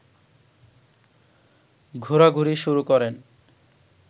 ঘোরাঘুরি শুরু করেন